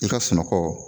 I ka sunɔgɔ